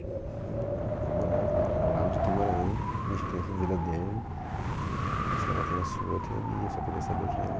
Eu falei, não, não vou morar, eu vou morar lá onde eu estou morando, ele já tem a vida dele, senhora tem a sua, eu tenho a minha, eu só queria saber quem era ele